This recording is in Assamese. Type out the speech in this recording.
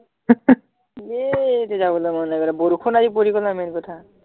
এ এতিয়া যাবলে মন নাই কৰা বৰষুণ আজি পৰি গল নহয় main কথা